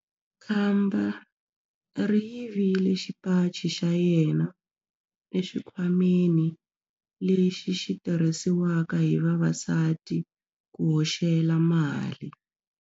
Khamba ri yivile xipaci xa yena exikhwameni lexi xi tirhisiwaka hi vavasati ku hoxela mali.